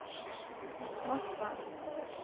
Moskva